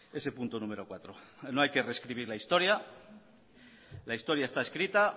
ese punto número cuatro no hay que rescribir la historia la historia está escrita